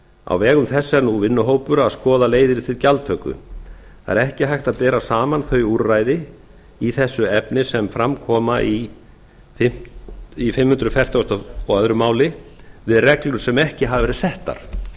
á vegum þess er nú vinnuhópur að skoða leiðir til gjaldtöku það er ekki hægt að bera saman þau úrræði í þessu efni sem fram koma í fimm hundruð fertugasta og öðru máli við reglur sem ekki hafa verið settar